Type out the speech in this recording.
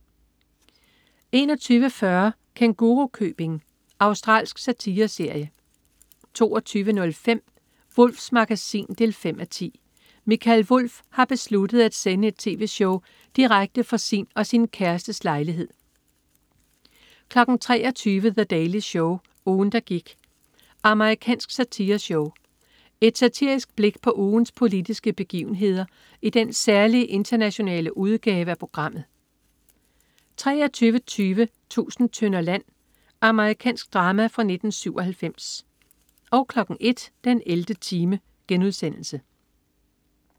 21.40 Kængurukøbing. Australsk satireserie 22.05 Wulffs Magasin 5:10. Mikael Wulff har besluttet at sende et tv-show direkte fra sin og sin kærestes lejlighed 23.00 The Daily Show. Ugen, der gik. Amerikansk satireshow. Et satirisk blik på ugens politiske begivenheder i den særlige internationale udgave af programmet 23.20 Tusind tønder land. Amerikansk drama fra 1997 01.00 den 11. time*